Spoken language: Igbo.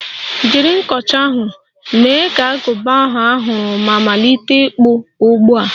Jiri nkọcha ahụ, mee ka agụba ahụ a hụrụ ma malite ịkpụ ugbu a!